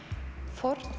fórn